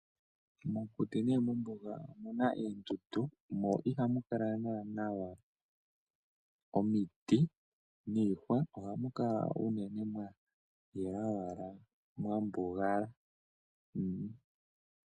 Mo muthitu nenge mombuga omuna oondundu mo ihamu kala naana omiti niihwa. Ohamu kala unene mwa yela owala mwambugala